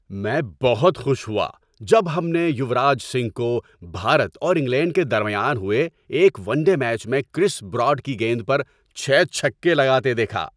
میں بہت خوش ہوا جب ہم نے یوراج سنگھ کو بھارت اور انگلینڈ کے درمیان ہوئے ایک ون ڈے میچ میں کرس براڈ کی گیند پر چھ چھکے لگاتے دیکھا۔